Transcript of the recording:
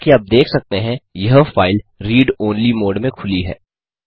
जैसा कि आप देख सकते हैं यह फाइल रीड ओनली मोड में खुली है